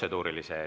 Leo Kunnas, palun!